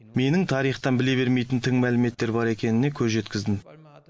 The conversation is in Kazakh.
менің тарихтан біле бермейтін тың мәліметтер бар екеніне көз жеткіздім